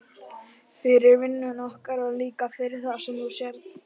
Fyrir vinnuna okkar og líka fyrir það sem þú sérð.